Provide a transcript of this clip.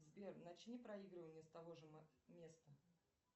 сбер начни проигрывание с того же места